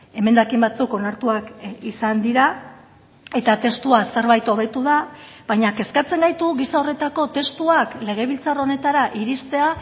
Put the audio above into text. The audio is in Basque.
emendakin batzuk onartuak izan dira eta testua zerbait hobetu da baina kezkatzen gaitu gisa horretako testuak legebiltzar honetara iristea